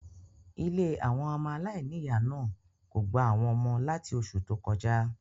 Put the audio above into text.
Ilé àwọn ọmọ aláìníìyá náà kò gba àwọn ọmọ láti osù tó kọjá.